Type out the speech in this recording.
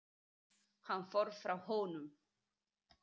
Hann fór frá honum.